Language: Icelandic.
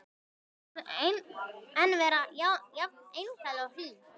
Skyldi hún enn vera jafn einlæg og hlý?